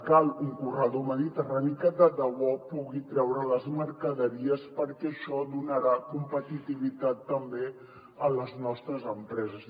cal un corredor mediterrani que de debò pugui treure les mercaderies perquè això donarà competitivitat també a les nostres empreses